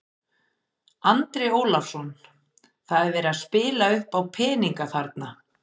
Andri Ólafsson: Það er verið að spila uppá peninga þarna?